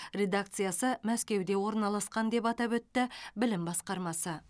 редакциясы мәскеуде орналасқан деп атап өтті білім басқармасы